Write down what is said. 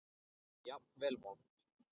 Jafnvel vont.